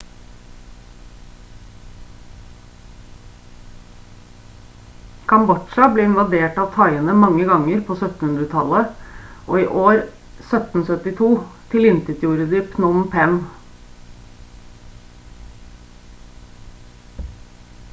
kambodsja ble invadert av thaiene mange ganger på 1700-tallet og i år 1772 tilintetgjorde de phnom phen